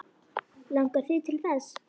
Langar þig til þess?